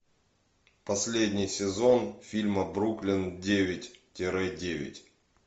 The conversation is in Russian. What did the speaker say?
последний сезон фильма бруклин девять тире девять